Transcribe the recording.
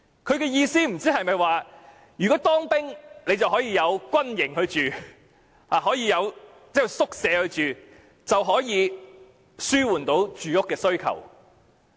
他的意思不知是否當兵就可以入住軍營宿舍，從而紓緩住屋需求？